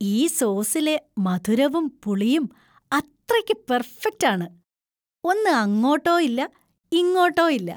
ഈ സോസിലെ മധുരവും പുളിയും അത്രയ്‌ക്ക് പെർഫെക്ട് ആണ്; ഒന്ന് അങ്ങോട്ടോ ഇല്ല, ഇങ്ങോട്ടോ ഇല്ല.